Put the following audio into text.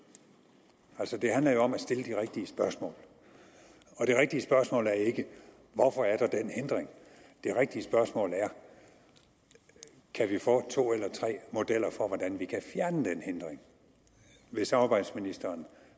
altså det handler jo om at stille det rigtige spørgsmål og det rigtige spørgsmål er ikke hvorfor er der den hindring det rigtige spørgsmål er kan vi få to eller tre modeller for hvordan man kan fjerne den hindring vil samarbejdsministeren